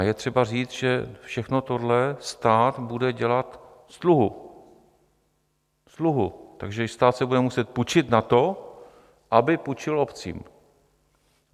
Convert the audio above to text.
A je třeba říct, že všechno tohle stát bude dělat z dluhu, takže stát si bude muset půjčit na to, aby půjčil obcím.